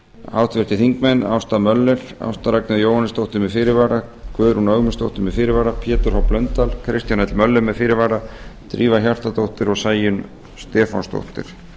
háttvirtir þingmenn ásta möller ásta ragnheiður jóhannesdóttir með fyrirvara guðrún ögmundsdóttir með fyrirvara pétur h blöndal kristján l möller með fyrirvara drífa hjartardóttir og sæunn stefánsdóttir